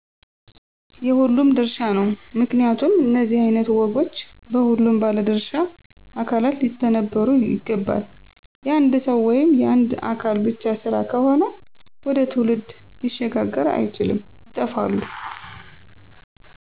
የሁሉም ድርሻ ነው። ምክንያቱም እነዚህ አይነት ወጎች በሁሉም ባለድሻ አካላት ሊተነበሩ ይገባል። የአንድ ሰዉ ወይም የአንድ አካል ብቻ ስራ ከሆነ ወደ ትውልድ ሊሸጋገር አይችልም ይጠፋሉ።